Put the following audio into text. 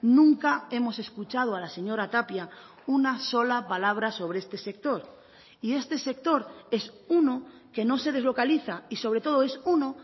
nunca hemos escuchado a la señora tapia una sola palabra sobre este sector y este sector es uno que no se deslocaliza y sobre todo es uno